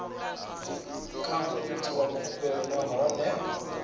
kha muiti wa khumbelo nahone